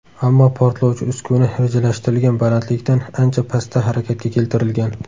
Ammo portlovchi uskuna rejalashtirilgan balandlikdan ancha pastda harakatga keltirilgan.